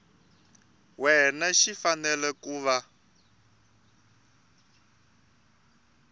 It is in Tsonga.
wena xi fanele ku va